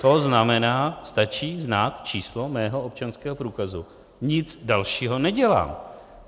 To znamená, stačí znát číslo mého občanského průkazu, nic dalšího nedělám.